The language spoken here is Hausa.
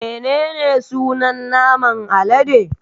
Menene sunan naman alade?